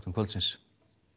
kvöldsins